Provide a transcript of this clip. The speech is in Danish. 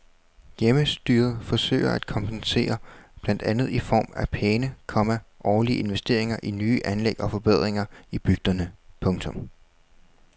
Hjemmestyret forsøger at kompensere blandt andet i form af pæne, komma årlige investeringer i nye anlæg og forbedringer i bygderne. punktum